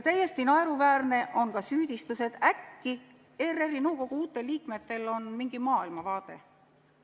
Täiesti naeruväärne on ka süüdistus, et äkki on ERR-i nõukogu uutel liikmetel mingisugune maailmavaade.